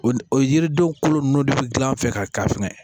O ni o yiridenw kolo ninnu de bɛ gilan an fɛ ka fɛngɛ